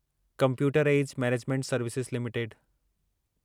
computer age management services limited